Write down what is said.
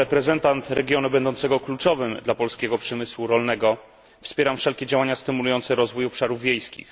Jako reprezentant regionu kluczowego dla polskiego przemysłu rolnego wspieram wszelkie działania stymulujące rozwój obszarów wiejskich.